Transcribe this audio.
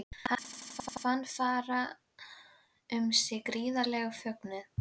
Hann fann fara um sig gríðarlegan fögnuð.